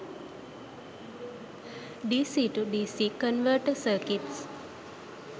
dc to dc converter circuits